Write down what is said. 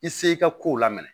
I se i ka kow la minɛ